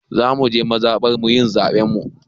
Za mu je mazaɓarmu yin zaɓen mu.